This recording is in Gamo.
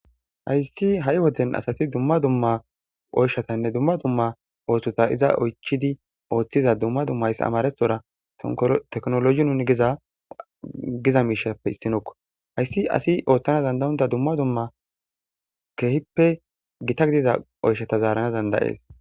Hayssi ha7i woden asati dumma dumma oyshatanne dumma dumma ooththota iza oychidi ooththiza dumma dummays amarethora teknologi nun giza giza miishappe issinoko hayssi asi ooththana dandayunda dumma dumma keehippe gita gidida oyshata zaarana dandayees.